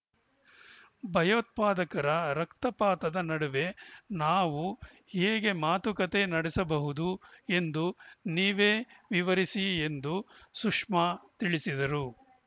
ಭಯೋತ್ಪಾದಕರ ರಕ್ತಪಾತದ ನಡುವೆ ನಾವು ಹೇಗೆ ಮಾತುಕತೆ ನಡೆಸಬಹುದು ಎಂದು ನೀವೇ ವಿವರಿಸಿ ಎಂದು ಸುಷ್ಮಾ ತಿಳಿಸಿದರು